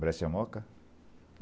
Breccia, Moca?